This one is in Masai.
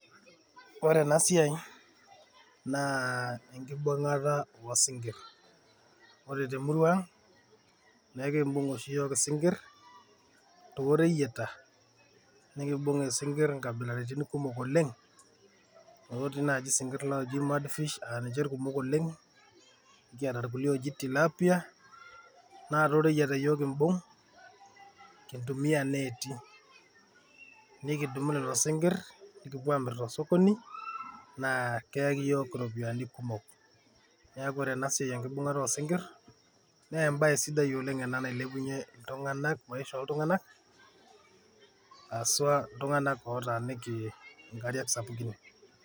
Ore ena siai naa enkibung`ata oo sinkirr, ore te murua ang' naa enkibung' oshi iyiok isinkirr too reyieta naa ekiimbung' oshi iyiok isinkirr nkabilaritin kumok oleng. Otii naaji isinkirr ooji mudfish aa ninche ilkumok oleng'. Nikiata sii ilkulie ooji tilapia naa too reyieta iyiok kimbung' kintumia netii. Nikidumu lelo sinkirr nikipuo aamir tosokoni naa keyaki iyiok iropiyiani kumok. Niaku ore ena siai oo enkibung`ata sinkirr, naa ebae sidai oleng' ena nailepunyie iltung`anak , maisha oo iltung`anak haswa iltung`anak lootaaniki nkariak sapukin.